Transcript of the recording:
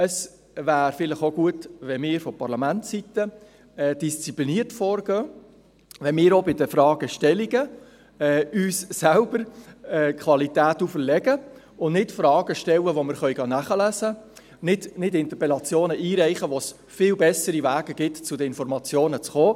Es wäre vielleicht auch gut, wenn wir von Parlamentsseite diszipliniert vorgingen, indem wir auch bei den Fragestellungen uns selber Qualität auferlegen und nicht Fragen stellen, die man nachlesen gehen kann, indem wir nicht Interpellationen einreichen, wo es viel bessere Wege gibt, zu den Informationen zu kommen.